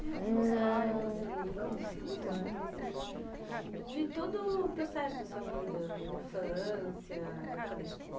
Uma história que você lembra assim, que você acha interessante, de todo o processo da sua vida, infância, época da esco